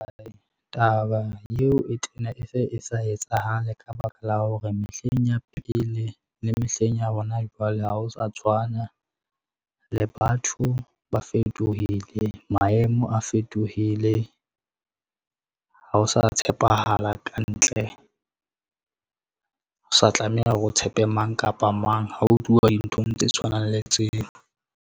Taba yeo e tena e se e sa etsahale ka baka la hore mehleng ya pele le mehleng ya hona jwale ha ho sa tshwana, le batho ba fetohile, maemo a fetohile. Ha o sa tshepahala ka ntle, ha o sa tlameha hore o tshepe mang kapa mang ha ho tluwa dinthong tse tshwanang le tseo.